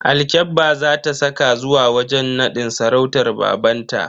Alkyabba za ta saka zuwa wajen nadin sarautar babanta.